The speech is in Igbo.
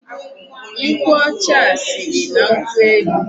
Nkwụ ọcha a siri na nkwụ elu.